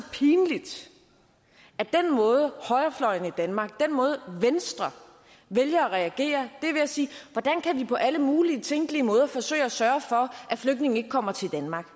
at den måde højrefløjen i danmark den måde venstre vælger at reagere er ved at sige hvordan kan vi på alle mulige tænkelige måder forsøge at sørge for at flygtningene ikke kommer til danmark